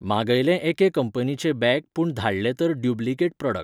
मागयलें एके कंपनीचें बॅग पुण धाडलें तर ड्युब्लिकेट प्रॉडक्ट.